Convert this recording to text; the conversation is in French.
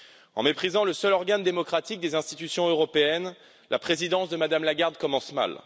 En méprisant le seul organe démocratique des institutions européennes, la présidence de Mme Lagarde commence mal.